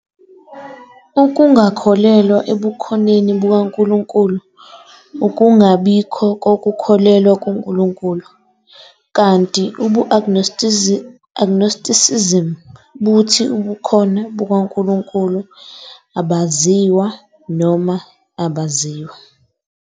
Ukungakholelwa ebukhoneni bukaNkulunkulu ukungabikho kokukholelwa kuNkulunkulu, kanti ubu-agnosticism buthi ubukhona bukaNkulunkulu abaziwa noma abaziwa.